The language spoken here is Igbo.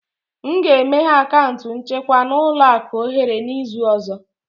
M ga-emeghe akaụntụ nchekwa na ụlọ akụ ohere n'izu ọzọ